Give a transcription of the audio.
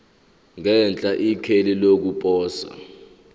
ngenhla ikheli lokuposa